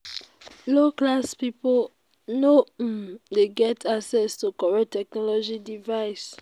low class pipo no um de get access to correct technological devices